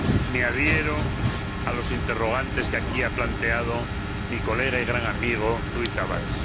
Me adhiero a los interrogantes que aquí ha planteado mi colega y gran amigo Rui Tavares.